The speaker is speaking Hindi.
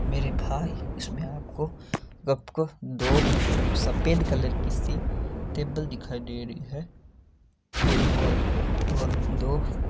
मेरे भाई इस में आपको दो सफ़ेद कलर की सी टेबल दिखाई दे रही ट्रे है और दो--